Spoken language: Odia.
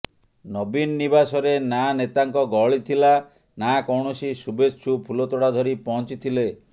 ନବୀନ ନିବାସରେ ନା ନେତାଙ୍କ ଗହଳି ଥିଲା ନା କୌଣସି ଶୁଭେଚ୍ଛୁ ଫୁଲତୋଡ଼ା ଧରି ପହଞ୍ଚିଥିଲେ